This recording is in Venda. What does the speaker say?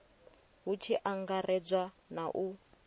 hu tshi angaredzwa na u